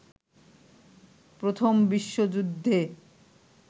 প্রথম বিশ্বযুদ্ধে